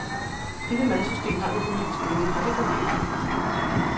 Dette madsystem har vi på min skole, og det fungerer fint.